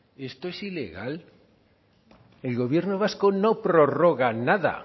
esto es ilegal el gobierno vasco no prorroga nada